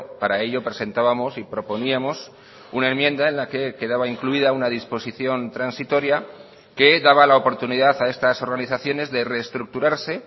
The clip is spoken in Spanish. para ello presentábamos y proponíamos una enmienda en la que quedaba incluida una disposición transitoria que daba la oportunidad a estas organizaciones de reestructurarse